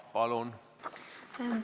Palun!